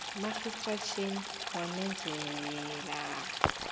margaret chan wamemezela